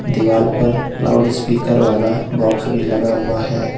दीवाल पर लाउडस्पीकर वाला बॉक्स भी लगा हुआ है।